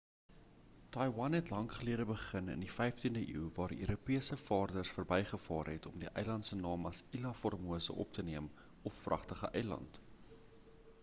taiwan het lank gelede begin in die 15de eeu waar europese vaarders verbygevaar het om die eiland se naam as ilha formose op te neem of pragtige eiland